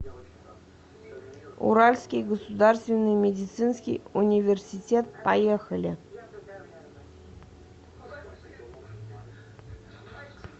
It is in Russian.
уральский государственный медицинский университет поехали